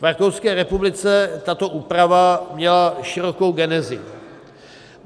V Rakouské republice tato úprava měla širokou genezi.